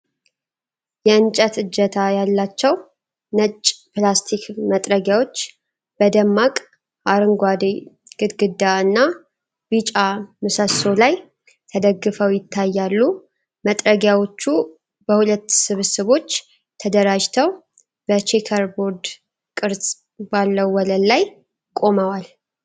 የእንጨት እጀታ ያላቸው ነጭ ፕላስቲክ መጥረጊያዎች በደማቅ አረንጓዴ ግድግዳ እና ቢጫ ምሰሶ ላይ ተደግፈው ይታያሉ። መጥረጊያዎቹ በሁለት ስብስቦች ተደራጅተው በቼከርቦርድ ቅርጽ ባለው ወለል ላይ ቆመዋል።